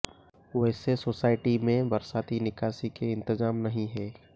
वैसे सोसायटी में बरसाती निकासी के इंतजाम नहीं हैं